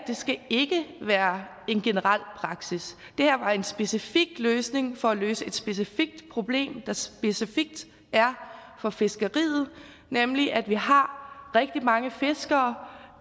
skal være en generel praksis det her er en specifik løsning for at løse et specifikt problem der specifikt er for fiskeriet nemlig at vi har rigtig mange fiskere